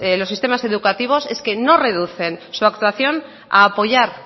los sistemas educativos es que no recuden su actuación a apoyar